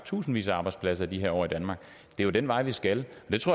tusindvis af arbejdspladser det er jo den vej vi skal